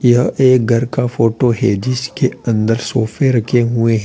यह एक घर का फोटो है जिसके अंदर सोफे रखे हुए हैं।